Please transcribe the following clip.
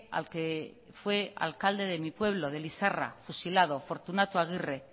al que fue alcalde de mi pueblo de lizarra fusilado fortunato aguirre